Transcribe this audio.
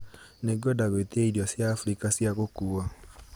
Nĩngwenda gwitia irio cia abirika cia gũkuua